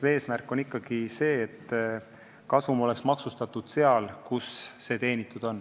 Eesmärk on ikkagi see, et kasum oleks maksustatud seal, kus see teenitud on.